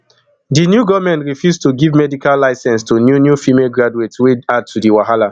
di new goment refuse to give medical licence to new new female graduates wey add to di wahala